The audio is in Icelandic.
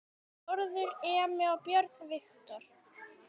Þórður Emi og Björn Viktor